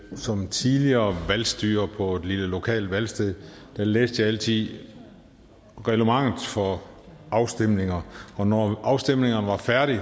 at som tidligere valgstyrer på et lille lokalt valgsted læste jeg altid reglementet for afstemninger og når afstemningerne var færdige